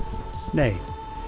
nei